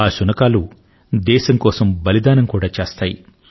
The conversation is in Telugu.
ఆ శునకాలు దేశం కోసం బలిదానం కూడా చేస్తాయి